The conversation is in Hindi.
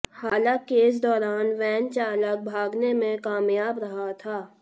हालांकि इस दौरान वैन चालक भागने में कामयाब रहा था